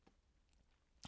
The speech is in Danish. DR K